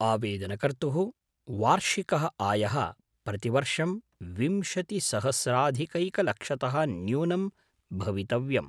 आवेदनकर्तुः वार्षिकः आयः प्रतिवर्षं विंशतिसहस्राधिकैकलक्षतः न्यूनं भवितव्यम्।